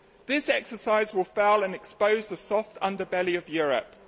This exercise will fail and expose the soft underbelly of Europe.